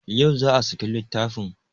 Yau za a saki littafin